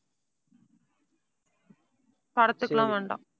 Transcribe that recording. படத்துக்கு எல்லாம் வேண்டாம்